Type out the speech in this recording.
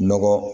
Nɔgɔ